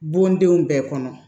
Bondenw bɛɛ kɔnɔ